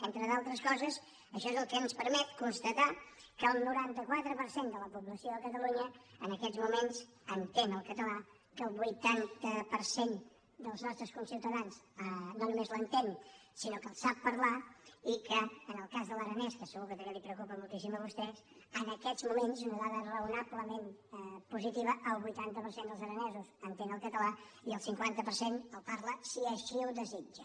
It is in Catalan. entre d’altres coses això és el que ens permet constatar que el noranta quatre per cent de la població a catalunya en aquests moments entén el català que el vuitanta per cent dels nostres conciutadans no només l’entén sinó que el sap parlar i que en el cas de l’aranès que segur que també li preocupa moltíssim a vostè en aquests moments una dada raonablement positiva el vuitanta per cent dels aranesos entén el català i el cinquanta per cent el parla si així ho desitja